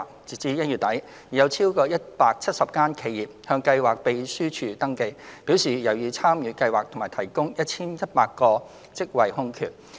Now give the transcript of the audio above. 截至1月底，已有超過170間企業向計劃秘書處登記，表示有意參與計劃及提供 1,100 個職位空缺。